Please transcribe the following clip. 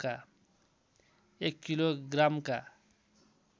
एक किलो ग्रामका